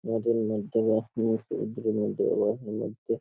নদীর মধ্যে বা সমুদ্রের দিকে লস হয়ে যাচ্ছে।